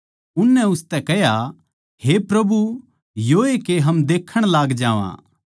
उननै उसतै कह्या हे प्रभु योए के हम देक्खण लाग जावां